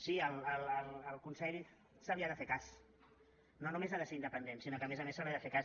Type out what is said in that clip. sí al consell se li ha de fer cas no només ha de ser independent sinó que a més a més se li ha de fer cas